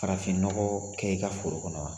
Farafinnɔgɔ kɛ i ka foro kɔnɔ wa